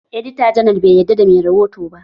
Edita janar bai yarda da mai rihoto ba